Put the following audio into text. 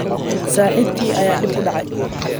Saxiibkii ayaa dhib ku dhacay